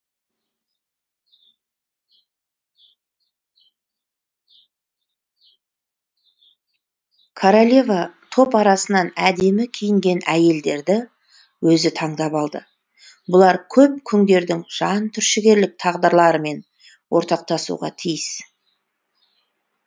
королева топ арасынан әдемі киінген әйелдерді өзі таңдап алды бұлар көп күңдердің жан түршігерлік тағдырларымен ортақтасуға тиіс